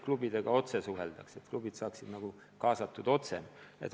Klubidega suheldakse otse, et klubid saaksid paremini kaasatud.